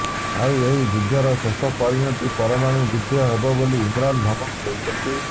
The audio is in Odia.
ଆଉ ଏହି ଯୁଦ୍ଧର ଶେଷ ପରିଣତି ପରମାଣୁ ଯୁଦ୍ଧ ହେବ ବୋଲି ଇମ୍ରାନ ଧମକ୍ ଦେଇଛନ୍ତି